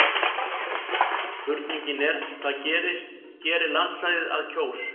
spurningin er hvað gerir landsvæði að kjós